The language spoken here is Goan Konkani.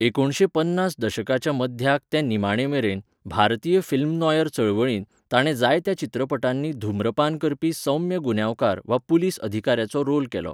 एकुणशे पन्नास दशकाच्या मध्याक ते निमाणे मेरेन, भारतीय फिल्म नॉयर चळवळींत, ताणें जायत्या चित्रपटांनी धुम्रपान करपी सौम्य गुन्यांवकार वा पुलीस अधिकाऱ्याचो रोल केलो.